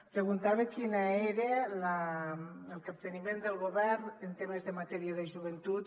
preguntava quin era el capteniment del govern en temes de matèria de joventut